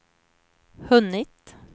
hunnit